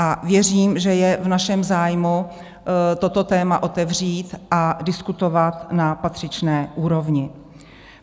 A věřím, že je v našem zájmu toto téma otevřít a diskutovat na patřičné úrovni.